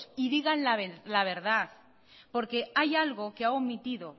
y digan la verdad porque hay algo que ha omitido